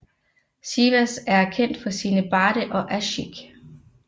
Sivas er kendt for sine barde og aşık